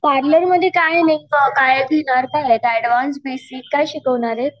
पार्लरमध्ये काय नेमकं काय काय ऍडव्हान्स बेसिक काय शिकवणार आहेत?